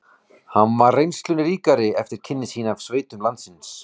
Nú var hann reynslunni ríkari eftir kynni sín af sveitum landsins